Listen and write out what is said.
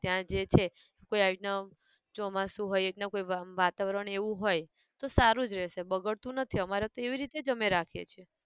ત્યાં જે છે કોઈ આ રીતના ચોમાસું હોય એ રીતના કોઈ વંઅમ વાતાવરણ એવું હોય, તો સારું જ રેહશે બગડતું નથી અમારે તો એવી રીતે જ અમે રાખીએ છે